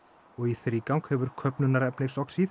og í þrígang hefur